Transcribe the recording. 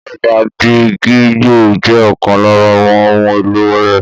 Bẹ́ẹ̀ni àgídìgbo jẹ́ ọkan lára àwọn ohun èlò orin